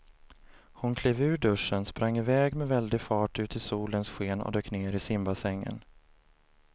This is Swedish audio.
Hon klev ur duschen, sprang med väldig fart ut i solens sken och dök ner i simbassängen.